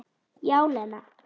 Já, Lena.